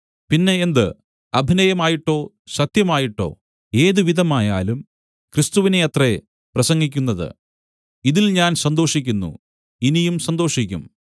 പിന്നെ എന്ത് അഭിനയമായിട്ടോ സത്യമായിട്ടോ ഏതുവിധമായാലും ക്രിസ്തുവിനെ അത്രേ പ്രസംഗിക്കുന്നത് ഇതിൽ ഞാൻ സന്തോഷിക്കുന്നു ഇനിയും സന്തോഷിക്കും